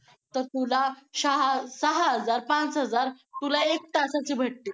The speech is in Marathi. धो धोंगटात डोकं आणि दप्तर सांभाळत ओढा नाल्यांच्या मंग मुस मुसनमारीतून ओलांडत धमाल दंगा करत उशिरा घरी पोहोचत